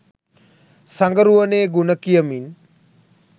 සඟරුවනේ ගුණ කියමින්